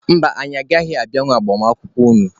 Mba, anyị agaghị abịanwu agbamakwụkwọ unu.